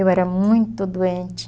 Eu era muito doente.